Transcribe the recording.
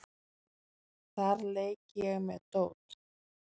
Þar leik ég með dót.